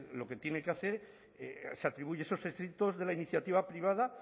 lo que tiene que hacer se atribuye esos éxitos de la iniciativa privada